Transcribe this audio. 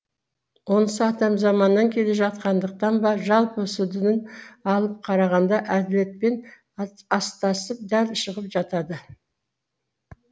онысы атам заманнан келе жатқандықтан ба жалпы сүдінін алып қарағанда әділетпен астасып дәл шығып жатады